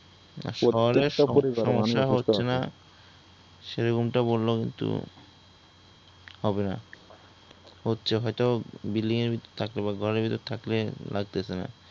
শহরে সমস্যা হচ্ছে না সেরকমটা বললেও কিন্তু হবে না । হচ্ছে হয়ত বিল্ডিং এর ভিতর থাকলে বা ঘরের ভিতর থাকলে লাগতাসে না ।